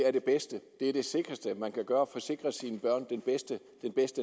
er det bedste man kan gøre for at sikre sine børn den bedste